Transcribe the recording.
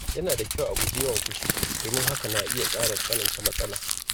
Yana da kyau a guji yawan fushi domin hakan na iya ƙara tsananta matsala.